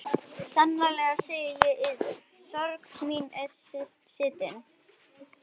Sannlega segi ég yður: sorg mín er stinn.